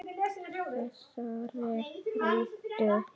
Þessari rottu.